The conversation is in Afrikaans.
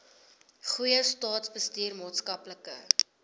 goeie staatsbestuur maatskaplike